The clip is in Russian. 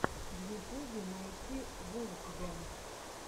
в ютубе найти вулфгэнг